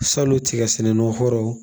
Salon tiga sɛnɛnnan kɔrɔw